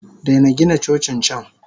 Daina Gina Cocin can!